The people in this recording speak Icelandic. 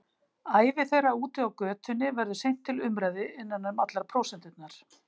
Ævi þeirra úti á götunni verður seint til umræðu innan um allar prósenturnar.